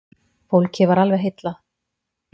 Fólkið varð alveg heillað.